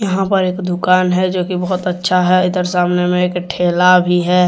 यहां पर एक दुकान हैजो की बहुत अच्छा है इधर सामने में एक ठेला भी है।